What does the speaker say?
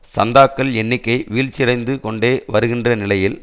சந்தாக்கள் எண்ணிக்கை வீழ்ச்சியடைந்து கொண்டே வருகின்ற நிலையில்